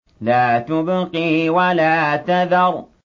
لَا تُبْقِي وَلَا تَذَرُ